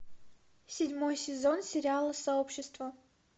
седьмой сезон сериала сообщество